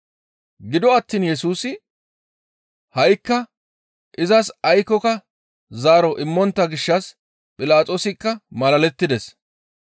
Gido attiin Yesusi ha7ikka izas aykkoka zaaro immontta gishshas Philaxoosikka malalettides.